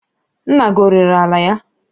Nna gi ọrere ala ya?